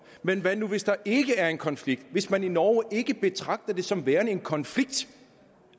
men hvad nu hvis der ikke er en konflikt hvis man i norge ikke betragter det som værende en konflikt